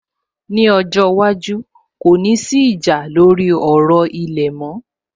Ní ọjọ́ iwájú, kò ní sí ìjà lórí ọ̀rọ̀ ilẹ̀ mọ́